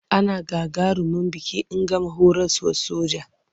Ana gagarumin biki in gama horaswar soja.